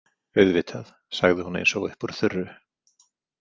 Auðvitað, sagði hún, eins og upp úr þurru.